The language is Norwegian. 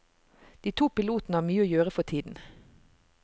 De to pilotene har mye å gjøre for tiden.